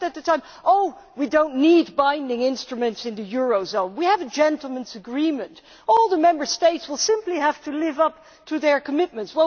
We said at the time that we did not need binding instruments in the eurozone, we have a gentleman's agreement and all the Member States will simply have to live up to their commitments.